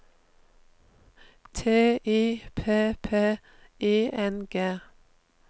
T I P P I N G